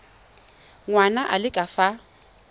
ngwana a le ka fa